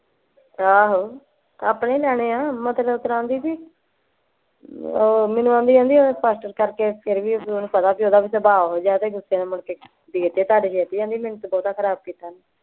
ਆਹੋ ਆਪਣੇ ਹੀ ਲੈਣੇ ਆ ਮਤਲਬ ਇਸਤਰਾਂ ਆਂਦੀ ਬੀ ਓਹ ਮੈਨੂੰ ਆਂਦੀ ਆਂਦੀ ਪਾਸਟਰ ਕਰਕੇ ਫੇਰ ਵੀ ਓਹਨੂੰ ਪਤਾ ਓਹਦਾ ਵੀ ਸੁਭਾ ਓਹੋ ਜਿਹਾ ਤੇ ਗੁੱਸੇ ਨਾਲ ਮੁੜਕੇ ਦੇਤੇ ਉਧਾਰੇ ਦੇਤੇ ਆਂਦੀ ਮੈਨੂੰ ਤੇ ਬਹੁਤਾ ਖਰਾਬ ਕੀਤਾ ਨਹੀਂ।